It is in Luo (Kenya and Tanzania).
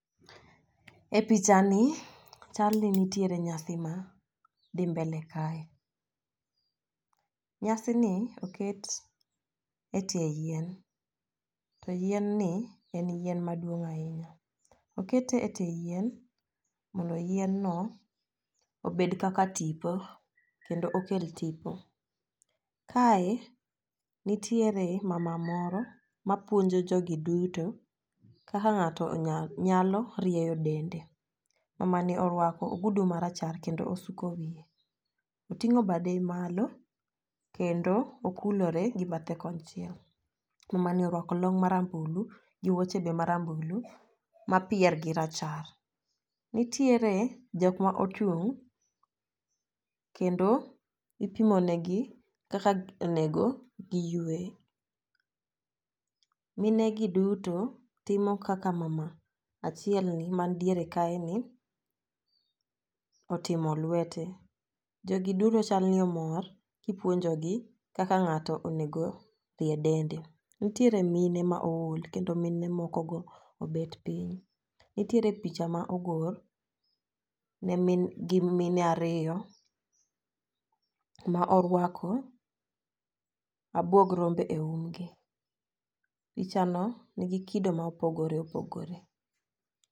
E picha ni chal ni nitiere nyasi ma dhi mbele kae. Nyasi ni oket e tie yien to yien ni en yien maduong' ahinya . Okete e tie yien mondo yien no obed kaka tipo kendo okel tipo. Kae nitiere mama moro ma puonjo jogi duto kaka ng'ato onya nyalo rieyo dende. Mamani orwako ogudu marachar kendo osuko wiye oting'o bade maklo kendo okulore gi bathe konchiel . Mama nine orwako long marambulu gi wuoche be marambulu ma pier gi rachar. Nitiere jok ma ochung' kendo ipimo negi Kaka onego giywe. Mine gi duto timo kaka mama achiel ni man diere kae ni otimo lwete .Jogi duto chal ni omor kipuonjo gi kakak ng'ato oneno rie dende. Nitiere mine ma ool kendo mine moko go obet piny. nitiere pinye ma ogor ne gi mine ariyo ma orwako abuog rombe e umgi. Picha no nigi kido ma opogore opogore.